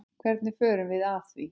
Hvernig förum við að því?